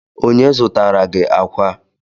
Onye zụtara gi akwa?